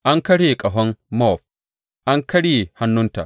An karye ƙahon Mowab; an karye hannunta,